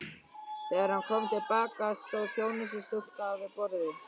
Þegar hann kom til baka, stóð þjónustustúlka við borðið.